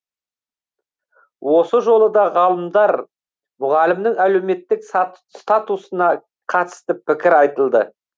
осы жолы да ғалымдар мұғалімнің әлеуметтік статусына қатысты пікір айтылды